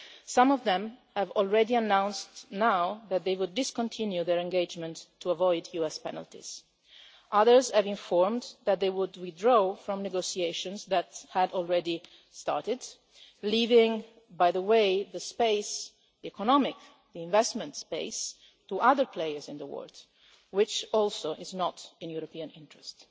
Some of them have already announced now that they would discontinue their engagement so as to avoid US penalties. Others have informed that they would withdraw from negotiations that had already started leaving, by the way, the economic investment space to other players in the world, which also is not in the European interest.